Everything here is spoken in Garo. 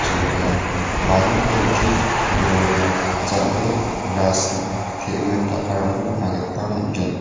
jekai baring bleti dorai jal·ik rasin te·mit dakarangko nikna gita man·gen.